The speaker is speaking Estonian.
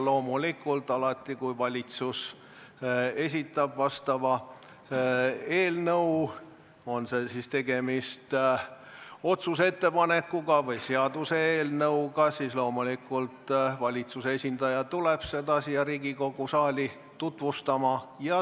Loomulikult, alati kui valitsus esitab eelnõu, on siis tegemist otsuse ettepanekuga või seaduseelnõuga, siis valitsuse esindaja tuleb seda siia Riigikogu saali tutvustama.